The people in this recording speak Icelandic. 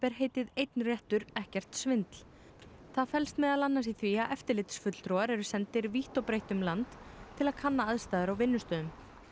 heitið einn réttur ekkert svindl það felst meðal annars í því að eftirlitsfulltrúar eru sendir vítt og breitt um land til að kanna aðstæður á vinnustöðum